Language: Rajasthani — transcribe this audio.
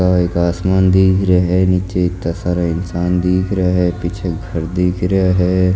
आ एक आसमान दिख रा है नीच इता सारा इंसान दिख रा है पिछ एक घर दिख रा है।